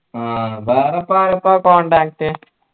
ആഹ് വേറെപ്പോ പ്പോ contact